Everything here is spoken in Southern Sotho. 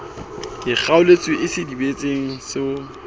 ke kgoeletso e sebedisetswang ho